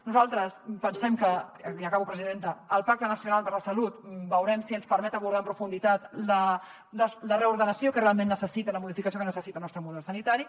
nosaltres pensem que ja acabo presidenta el pacte nacional per a la salut veurem si ens permet abordar en profunditat la reordenació que realment necessita la modificació que necessita el nostre model sanitari